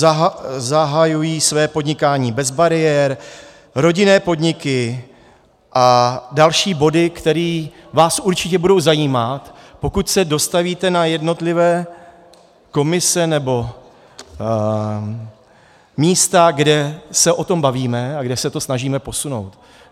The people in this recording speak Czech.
Zahajují své podnikání bez bariér, rodinné podniky a další body, které vás určitě budou zajímat, pokud se dostavíte na jednotlivé komise nebo místa, kde se o tom bavíme a kde se to snažíme posunout.